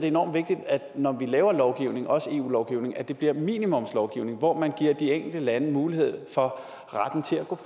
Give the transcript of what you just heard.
enormt vigtigt når man laver lovgivning også eu lovgivning at det bliver minimumslovgivning hvor man giver de enkelte lande mulighed for retten til at gå